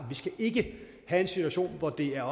vi skal ikke have en situation hvor det er